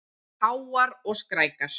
Háar og skrækar.